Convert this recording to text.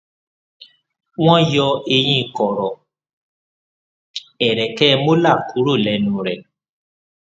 wọn yọ eyín kọrọ ẹrẹkẹ molar kúrò lẹnu rẹ